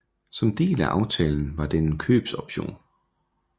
Som del af aftalen var den en købsoption